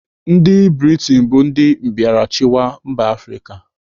Ndị Britain bụ ndị mbịarachịwa mba Afrịka.